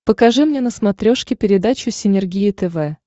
покажи мне на смотрешке передачу синергия тв